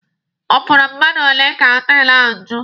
Ọ fọrọ mmadụ ole ka họtelụ ahụ ju?